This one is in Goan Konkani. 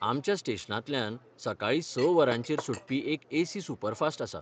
आमच्या स्टेशनांतल्यान सकाळीं स वरांचेर सुटपी एक एसी सुपरफास्ट आसा.